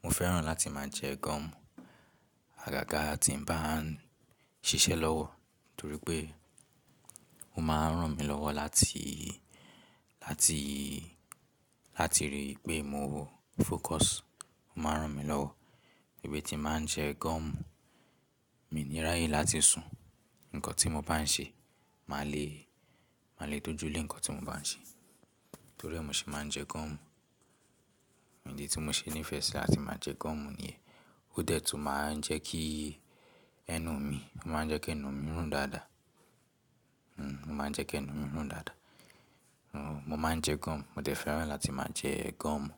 mo fẹ́ràn láti máa jẹ gọ́ọ̀mù. Àgàgá tí mo bá ń ṣiṣẹ́ lọ́wọ́, torí pé ó máa ń ràn mí lọ́wọ́ láti, láti, láti rí pé mo fọ́cus, ó máa ń ràn mí lọ́wọ́. Níbi tí máa ń jẹ gọ́ọ̀mù, mi ní ráyé láti sùn. Nǹkan tí mo bá ń ṣe, màá lè, màá lè dojúlé ǹkan tí mo bá ń ṣe. Torí ẹ mi ó ṣe máa ń jẹ gọ́ọ̀mù. Ìdí tí mo ṣe nífẹ̀ẹ́ sí láti máa jẹ gọ́ọ̀mù ni ó dẹ́tùn máa ń jẹ́ kí ẹnu mi, ó máa ń jẹ́ kí ẹnu mí rùn dáadáa. Hmm ó máa ń jẹ́ kí ẹnu mí rùn dáadáa. Hmm mo máa ń jẹ gọ́ọ̀mù. Mo fẹ́ràn láti máa jẹ gọ́ọ̀mù.